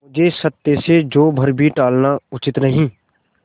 मुझे सत्य से जौ भर भी टलना उचित नहीं